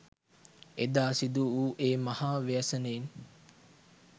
එදා සිදුවූ ඒ මහා ව්‍යසනයෙන්